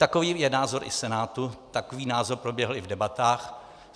Takový je názor i Senátu, takový názor proběhl i v debatách.